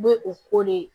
U bɛ u ko de